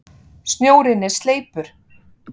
Snjórinn er sleipur!